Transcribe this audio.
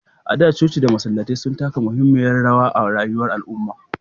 A da, coci da masallatai sun taka muhimmiyar rawa a rayuwar al'umma.